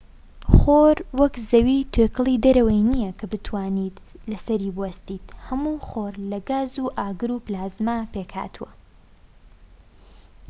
خۆر وەک زەوی توێکڵی دەرەوەی نیە کە بتوانیت لەسەری بوەستیت هەموو خۆر لە گاز و ئاگر و پلازما پێکهاتووە